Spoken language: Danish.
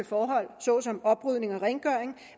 forhold såsom oprydning og rengøring